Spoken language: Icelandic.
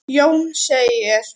Jón segir: